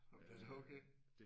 Nåh det er da okay